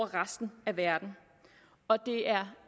resten af verden og det er